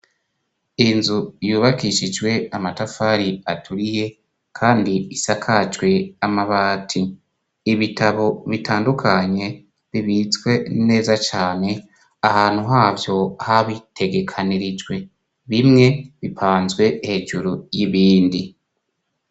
Inzu yubakishijwe amatafari aturiye kandi isakajwe amabati, ibitabo bitandukanye bibitswe neza cane ahantu havyo habitegekanirijwe bimwe bipanzwe hejuru y'ibindi.